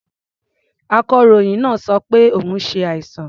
Akọ̀ròyìn náà sọ pé òun ṣàìsàn.